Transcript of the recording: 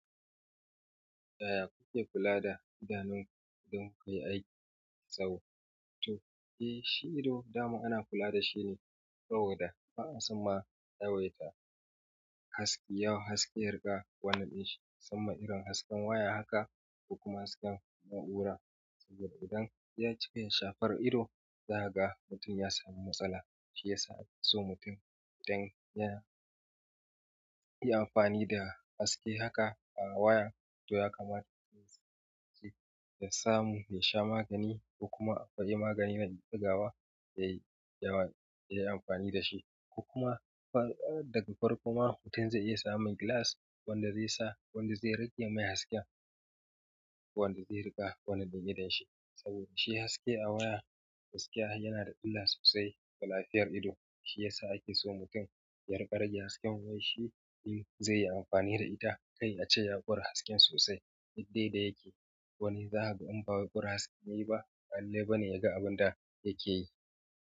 Yaya kuke kula da idanunku don kuyi aiki mai tsawo? Eh, shi ido, dama ana kula dashi ne saboda, ba'a son ma, yawaita haske, yawon haske, riga wannan ɗin shi. Musamman irin hasken waya haka, ko kuma hasken na'ura. Saboda idan ya cika ya shafar ido, za ka ga mutum ya sami matsala. Shiya ake so mutum idan yana yi amfani da haske haka a waya, to ya kamata ya samu, ya sha magani, ko kuma yayi magani na ɗigawa, yayi amfani da shi. Ko kuma, daga farko ma, mutum zai iya samun glass wanda zai sa, wanda zai rage mai hasken, wanda zai riƙa, wannan da ya daina shi. Saboda shi haske a waya, gaskiya yana da illa sosai ga lafiyar ido. Shiya sa ake so mutum ya riƙa rage hasken wayar shi, in zai yi amfani da ita, kar a ce ya ƙora hasken sosai yadda ya dace yake. Wani zakaga idan ba kora hasken yayi ba, ba lalle bane ya gan abun yakeyi.